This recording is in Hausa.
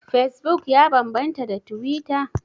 Fesbuk ya bambanta da tuwita?